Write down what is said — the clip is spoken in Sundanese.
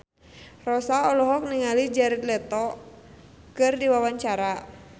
Rossa olohok ningali Jared Leto keur diwawancara